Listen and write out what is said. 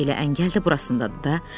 Elə əngəl də burasındadır da.